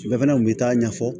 Bɛɛ fana kun bɛ taa ɲɛfɔ